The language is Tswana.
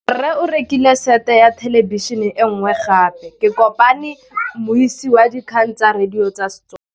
Rre o rekile sete ya thêlêbišênê e nngwe gape. Ke kopane mmuisi w dikgang tsa radio tsa Setswana.